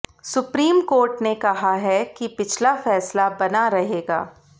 supreme court ने कहा है कि पिछला फैसला बना रहेगा